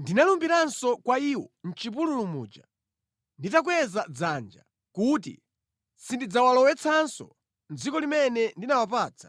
Ndinalumbiranso kwa iwo mʼchipululu muja, nditakweza dzanja, kuti sindidzawalowetsanso mʼdziko limene ndinawapatsa,